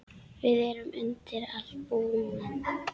Við erum undir allt búin.